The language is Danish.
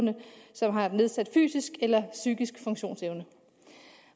som har nedsat fysisk eller psykisk funktionsevne